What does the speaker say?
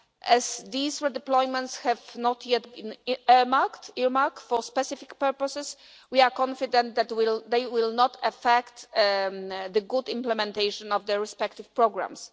As these redeployments have not yet been earmarked for specific purposes, we are confident that this will not affect the good implementation of their respective programmes.